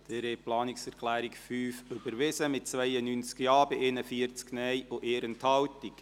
Sie haben die Planungserklärung 5 überwiesen, mit 92 Ja- bei 41 Nein-Stimmen und 1 Enthaltung.